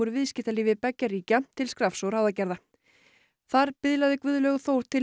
viðskiptalífi beggja ríkja til skrafs og ráðagerða þar biðlaði Guðlaugur Þór til